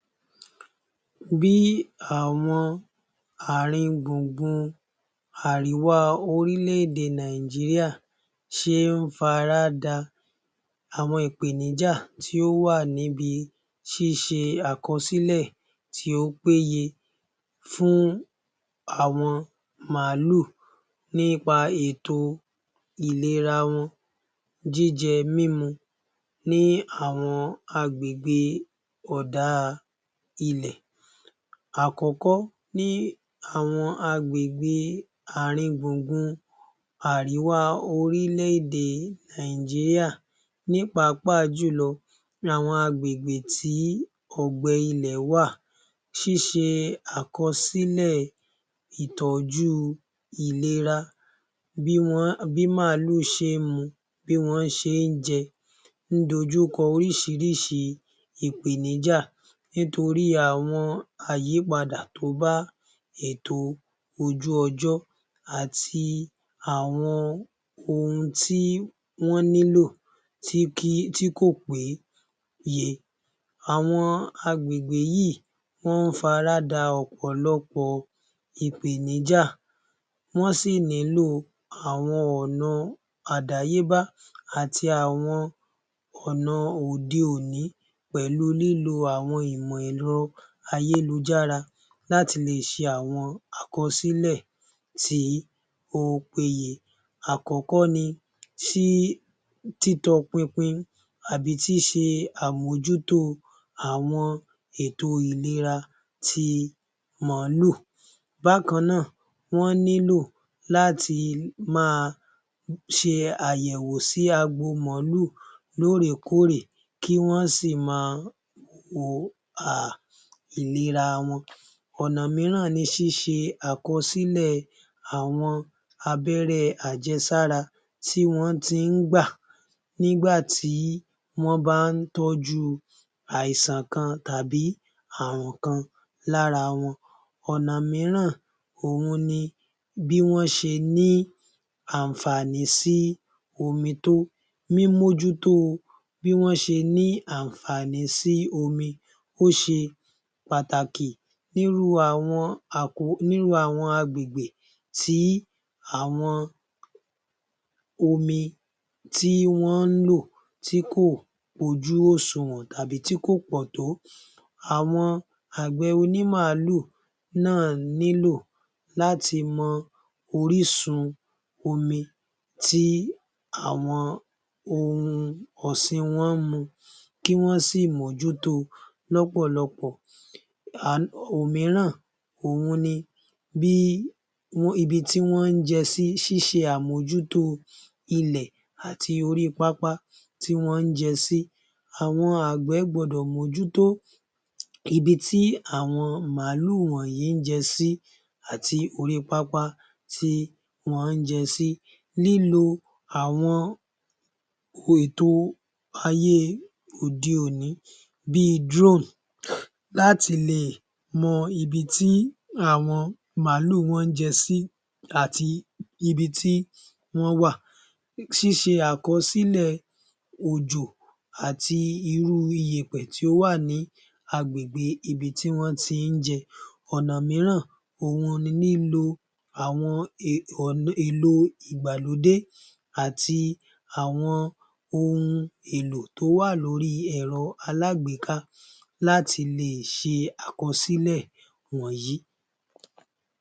Bí àwọn ààrin-gbùngùn àríwá orílẹ̀-èdè Nàìjíríà, ṣe ń faráda àwọn ìpèníjà tí ó wà níbi ṣíṣe àkọsílẹ̀ tí ó péye fún àwọn màálù, nípa ètò ìlera wọn, jíjẹ mímu ní àwọn agbègbè òdá ilẹ̀ àkọ́kọ ní àwọn agbègbe àárín-gbùngbùn àríwá orílè-èdè Nàìjìríà ní pàápàa jùlọ àwọn agbègbè tí ọ̀gbẹ ilẹ̀ wà, ṣíṣe àkọsílẹ̀, ìtójú ìlera bí wọ́n bí màálù ṣe ń mu, bí wọn ṣe ń jẹ ń dojú kọ oríṣiríṣi ìpèníjà torí àwọn àyípadà tó bá ètò ojú ojọ́ àti àwọn ohun tí wọ́n nílò tí kò pé ye. Àwọn agbègbè yíì wọ́n ń faráda ọ̀pọ̀lọpọ̀ ìpèníjà. Wọ́n sì nílò àwọn ọ̀nà àdáyébá àti àwọn ọ̀nà òde-òní, pẹ̀lu lílo àwọn ìmọ̀ ẹ̀rọ ayélujára láti lè ṣe àkọsílè tí ó péye. Àkọ́kọ́ ni ṣí títọ pinpin àbí tí ṣe àmójútó ètò ìlera ti màálù, bákanáà wọ́n nílò láti máa ṣe àyẹ̀wò sí agbo màálù lóòrèkóòrè, kí wọ́n sì mọ o hà ìlera wọn. Ọ̀nà mìíràn ni ṣíṣe àkọsílẹ àwọn abẹ́rẹ́ àjẹsára tí wọ́n ti ń gbà nígbà tí wọ́n bá ń tọ́jú àìsàn kan tàbí ààrùn kan lára wọn, ọ̀nà mìíràn òun ni bí wọ́n ṣe ní àǹfàní sí omi tó, mímójútó o bí wọ́n ṣe ní àǹfà̀ní sí omi ó ṣe pàtàkì nírú àwọn àkó ní irú àwọn agbègbè tí àwọn omi tí wọn ń lò tí kò kún ojú òṣùnwọ̀n tàbí tí kò pọ̀n tó. Àwọn àgbẹ̀ onímàálù náà nílò láti mọ orísun omi tí àwọn ohun ọsìn wọ́n ń mu kí wọ́n sì mójúto lọ́pọ̀lọpọ̀, òmíràn òun ni bí ibi tí wọn jẹ sí ṣíṣe àmójútó ilẹ̀ àti orí pápá tí wọ́n ń jẹ sí. Àwọn àgbẹ̀ gbọdọ̀ mójútó ibi tí àwọn màálù wọ̀n yìí ń jẹ sí àti orí pápá tí wọ́n ń jẹ sí, lílo àwọn ètò ayé òde-òní bí í Drone láti lè mọ ibi tí àwọn màálù wọ́n ń jẹ sí àti ibi tí wọ́n wà, ṣíṣe àkọsílẹ̀ òjò àti irú ìyẹ̀pẹ̀ tí ó wà ní agbègbè ibi tí wọ́n ti ń jẹ. Ọ̀nà mìíràn òun ni lílo àwọn èlò ìgbàlódé àti àwọn ohun èlò tó wà lórí èrọ alágbéká láti lè ṣe àkọsílẹ̀ wọ̀n yí.